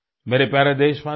मेरे प्यारे देशवासियो